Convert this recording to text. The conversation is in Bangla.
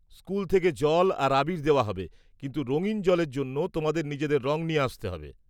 -স্কুল থেকে জল আর আবীর দেওয়া হবে কিন্তু রঙীন জলের জন্য তোমাদের নিজেদের রং নিয়ে আসতে হবে।